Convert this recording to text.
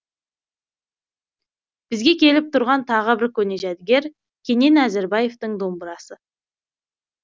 бізге келіп тұрған тағы бір көне жәдігер кенен әзірбаевтің домбырасы